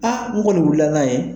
Aa n kɔni wuli la n'an ye.